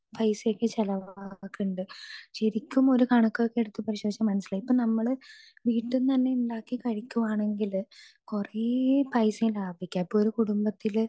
speaker 2 പൈസയൊക്കെ ചെലവാകിണ്ട് ശരിക്കുമൊരു കണക്കൊക്കെ എടുത്തുനോക്കിയാൽ മനസ്സിലാകും ഇപ്പൊ നമ്മള് വീട്ടീന്ന് തന്നെ ഉണ്ടാക്കി കഴിക്കുവാണെങ്കില് കൊറേ പൈസ ലാഭിക്കാം ഇപ്പൊ ഒരു കുടുംബത്തില്